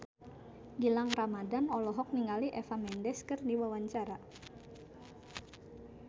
Gilang Ramadan olohok ningali Eva Mendes keur diwawancara